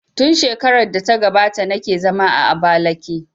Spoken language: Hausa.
Tun shekarar da ta gabata na ke zama a Abakiliki